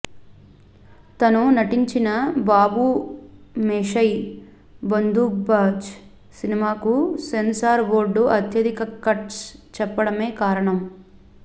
తను నటించిన బాబూమోషై బందూక్బాజ్ సినిమాకు సెన్సార్ బోర్డు అత్యధిక కట్స్ చెప్పడమే కారణం